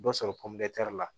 Dɔ sɔrɔ pɔmpɛri